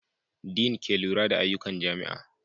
Din ke lura da ayyukan jami'a.